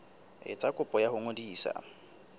etsa kopo ya ho ngodisa